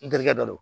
N terikɛ dɔ don